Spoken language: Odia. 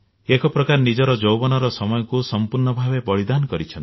ଏକ ପ୍ରକାର ନିଜର ଯୌବନର ସମୟକୁ ସମ୍ପୂର୍ଣ୍ଣ ଭାବେ ବଳିଦାନ କରିଛନ୍ତି